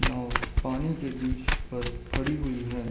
नाव पानी के बीच पर खड़ी हुई है।